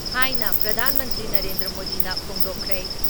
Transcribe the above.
ꯍꯥꯏꯅ ꯄ꯭ꯔꯙꯥꯟ ꯃꯟꯇ꯭ꯔꯤ ꯅꯔꯦꯟꯗ꯭ꯔ ꯃꯣꯗꯤꯅ ꯐꯣꯡꯗꯣꯛꯈ꯭ꯔꯦ ꯫